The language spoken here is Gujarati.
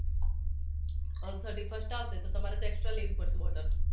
હવે thirty first આવશે તો તમારે extra લેવી પડશે bottle